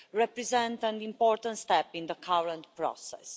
represent an important step in the current process.